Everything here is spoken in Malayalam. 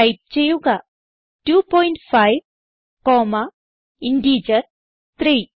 ടൈപ്പ് ചെയ്യുക 25 കോമ്മ ഇന്റഗർ 3